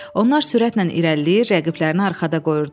Onlar sürətlə irəliləyir, rəqiblərini arxada qoyurdular.